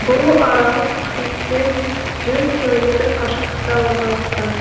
бұл арал криттен жүз километр қашықтықта орналасқан